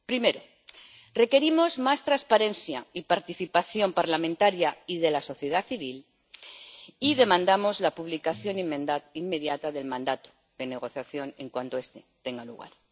Primero, requerimos más transparencia y participación parlamentaria y de la sociedad civil y demandamos la publicación inmediata del mandato de negociación en cuanto este tenga lugar.